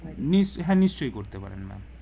scene~ হ্যাঁ নিশ্চয় করতে পারবেন ম্যাম